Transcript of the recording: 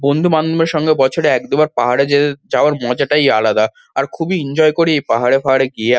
বন্ধুবান্ধবদের সঙ্গে বছরে এক দুবার পাহাড়ে যেতে যাওয়ার মজাটাই আলাদা আর খুবই এনজয় করি এই পাহাড়ে ফাহারে গিয়ে আ--